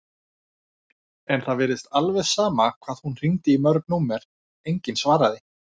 En það virtist alveg sama hvað hún hringdi í mörg númer, enginn svaraði.